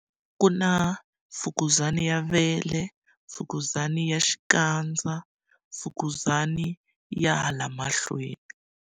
Ku na fukuzana ya vele, mfukuzana ya xikandza, mfukuzana ya hala mahlweni.